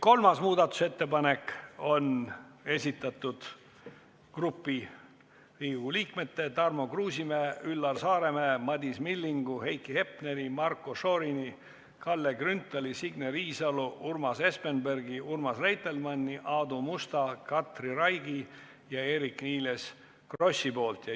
Kolmanda muudatusettepaneku on esitanud grupp Riigikogu liikmeid: Tarmo Kruusimäe, Üllar Saaremäe, Madis Milling, Heiki Hepner, Marko Šorin, Kalle Grünthal, Signe Riisalo, Urmas Espenberg, Urmas Reitelmann, Aadu Must, Katri Raik ja Eerik-Niiles Kross.